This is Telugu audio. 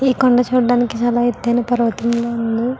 ఈ కొండ చూడానికి చాలా ఎత్తయిన పర్వతంల ఉంది.